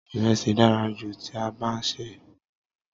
Iresi dára jù tí a bá sè é.